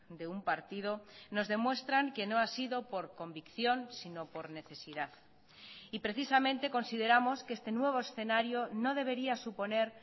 de un partido nos demuestran que no ha sido por convicción sino por necesidad y precisamente consideramos que este nuevo escenario no debería suponer